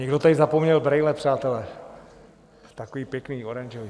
Někdo tady zapomněl brejle, přátelé, takový pěkný, oranžový.